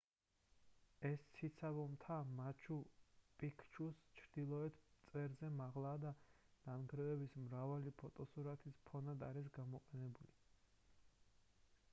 ეს ციცაბო მთა მაჩუ პიქჩუს ჩრდილოეთ წვერზე მაღლაა და ნანგრევების მრავალი ფოტოსურათის ფონად არის გამოყენებული